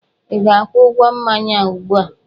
Ị ga-akwụ ụgwọ mmanya a ụgbu a!